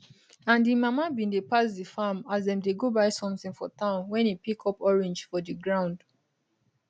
and im mama bin dey pass di farm as dem dey go buy sometin for town wen e pick up orange for di ground